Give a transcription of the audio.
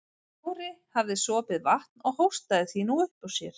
Kári hafði sopið vatn og hóstaði því nú upp úr sér.